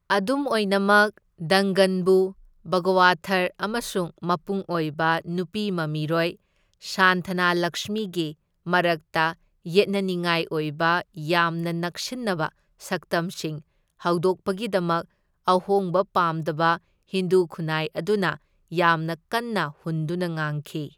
ꯑꯗꯨꯝ ꯑꯣꯏꯅꯃꯛ, ꯗꯪꯒꯟꯕꯨ, ꯚꯒꯋꯊꯔ ꯑꯃꯁꯨꯡ ꯃꯄꯨꯡ ꯑꯣꯏꯕ ꯅꯨꯄꯤ ꯃꯃꯤꯔꯣꯏ ꯁꯥꯟꯊꯅꯥꯂꯛꯁꯃꯤꯒꯤ ꯃꯔꯛꯇ ꯌꯦꯠꯅꯅꯤꯡꯉꯥꯏ ꯑꯣꯏꯕ ꯌꯥꯝꯅ ꯅꯛꯁꯤꯟꯅꯕ ꯁꯛꯇꯝꯁꯤꯡ ꯍꯧꯗꯣꯛꯄꯒꯤꯗꯃꯛ ꯑꯍꯣꯡꯕ ꯄꯥꯝꯗꯕ ꯍꯤꯟꯗꯨ ꯈꯨꯟꯅꯥꯏ ꯑꯗꯨꯅ ꯌꯥꯝꯅ ꯀꯟꯅ ꯍꯨꯟꯗꯨꯅ ꯉꯥꯡꯈꯤ꯫